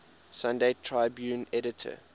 sunday tribune editor